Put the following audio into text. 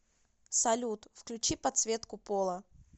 салют включи подсветку пола